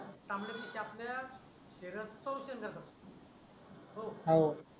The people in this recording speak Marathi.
तांबड्या पिशया आपल्या शरीरात सौक्षन्य करतात हो हो